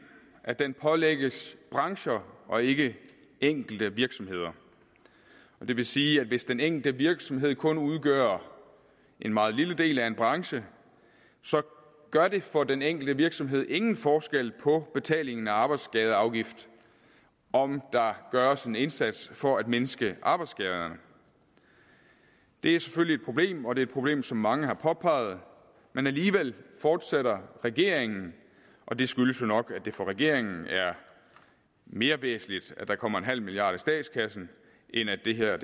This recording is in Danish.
at den pålægges brancher og ikke enkelte virksomheder det vil sige at hvis den enkelte virksomhed kun udgør en meget lille del af en branche gør det for den enkelte virksomhed ingen forskel for betalingen af arbejdsskadeafgift om der gøres en indsats for at mindske arbejdsskaderne det er selvfølgelig et problem og det er et problem som mange har påpeget men alligevel fortsætter regeringen og det skyldes jo nok at det for regeringen er mere væsentligt at der kommer en halv milliard kroner i statskassen end at det her